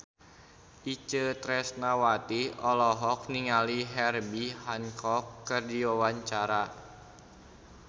Itje Tresnawati olohok ningali Herbie Hancock keur diwawancara